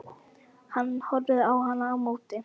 Hann horfði á hann á móti.